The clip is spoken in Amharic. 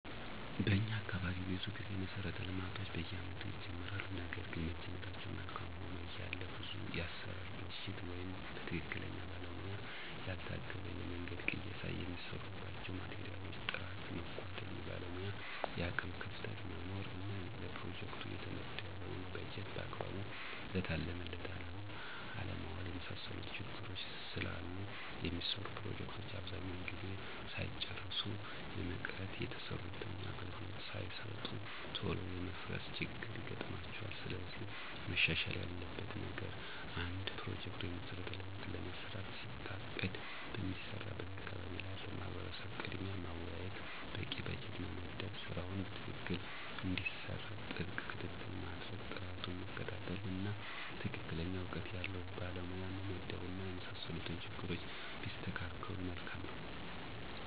በኛ አካባቢ ብዙ ጊዜ መሠረተ ልማቶች በየአመቱ ይጀመራሉ ነገርግን መጀመራቸው መልካም ሆኖ እያለ ብዙ የአሠራር ብልሽት ወይም በትክክለኛ ባለሙያ ያልታገዘ የመንገድ ቅየሳ፣ የሚሰሩባቸው ማቴሪያሎች ጥራት መጓደል፣ የባለሙያ የአቅም ክፍተት መኖር እና ለፕሮጀክቱ የተመደበውን በጀት በአግባቡ ለታለመለት አላማ አለማዋል የመሳሰሉት ችግሮች ስላሉ የሚሰሩ ፕሮጀክቶች አብዛኛውን ጊዜ ሳይጨረሱ የመቅረት፣ የተሰሩትም አገልግሎት ሳይሰጡ ቶሎ የመፍረስ ችግር ይገጥማቸዋል። ስለዚህ መሻሻል ያለበት ነገር አንድ ፕሮጀክት(መሠረተ ልማት)ለመስራት ሲታቀድ በሚሰራበት አካባቢ ላለው ማህበረሰብ ቅድሚያ ማወያየት፣ በቂ በጀት መመደብ ስራው በትክክል እንዲሰራ ጥብቅ ክትትል ማድረግ፣ ጥራቱን መከታተል፣ እና ትክክለኛ እውቀት ያለው ባለሙያ መመደብ እና የመሳሰሉት ችግሮች ቢስተካከሉ መልካም ነው።